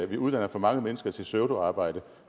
vi uddanner for mange mennesker til pseudoarbejde